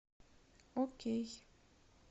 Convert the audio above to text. окей